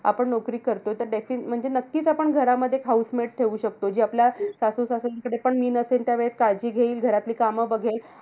आपण नोकरी करतो, तर त्याची म्हणजे नक्कीच आपण घरामध्ये एक housemade ठेऊ शकतो. जी आपल्या सासू-सासऱ्यांकडे पण मी नसेल त्यावेळेस काळजी घेईल. घरातली काम बघेल.